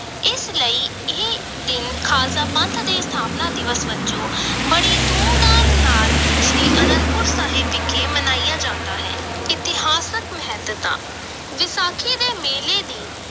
ਇਸ ਲਈ ਇਹ ਦਿਨ ਖ਼ਾਲਸਾ ਪੰਥ ਦੇ ਸਥਾਪਨਾ ਦਿਵਸ ਵਜੋਂ ਬੜੀ ਧੂਮ-ਧਾਮ ਨਾਲ ਸ੍ਰੀ ਅਨੰਦਪੁਰ ਸਾਹਿਬ ਵਿਖੇ ਮਨਾਇਆ ਜਾਂਦਾ ਹੈ, ਇਤਿਹਾਸਕ ਮਹੱਤਤਾ ਵਿਸਾਖੀ ਦੇ ਮੇਲੇ ਦੀ